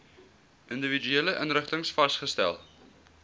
individuele inrigtings vasgestel